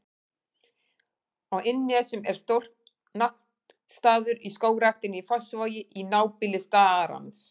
Á Innnesjum er stór náttstaður í Skógræktinni í Fossvogi, í nábýli starans.